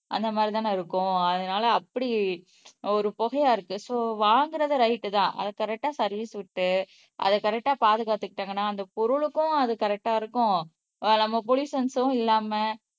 அந்த மாரிதான இருக்கும் அதனால அப்படி ஒரு புகையா இருக்கு சோ வாங்குறதே ரைட் தான் அதை கரெக்டா சர்வீஸ் விட்டு அதை கரெக்டா பாதுகாத்துக்கிட்டாங்கன்னா அந்த பொருளுக்கும் அது கரெக்டா இருக்கும் நம்ம போலியூசன்சும் இல்லாம